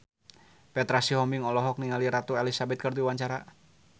Petra Sihombing olohok ningali Ratu Elizabeth keur diwawancara